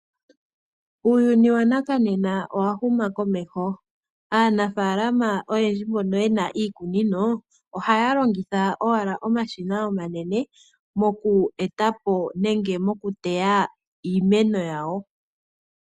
Uuyuni wonena owahuma komeho, aanafalama oyendji mbono yena iikunino ohayalongitha owala omashina omanene muko etapo nenge mokuteya iimeno yawo.